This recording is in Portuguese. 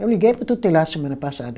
Eu liguei para o tutelar semana passada.